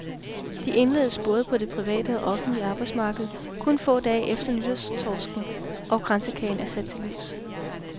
De indledes både på det private og offentlige arbejdsmarked, kun få dage efter nytårstorsken og kransekagen er sat til livs.